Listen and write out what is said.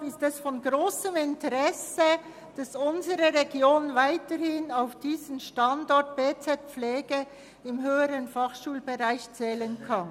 Deshalb ist es von grossem Interesse, dass unsere Region weiterhin auf diesen Standort des BZ Pflege zählen kann.